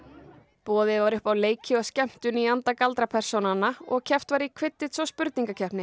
boðið var upp á leiki og skemmtun í anda og keppt var í Quidditch og spurningakeppni